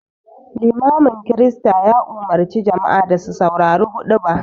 Limamin Kirista ya umarci jama'a da su saurari huɗuba